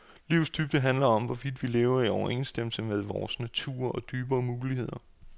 Livets dybde handler om, hvorvidt vi lever i overensstemmelse med vores natur og dybere muligheder.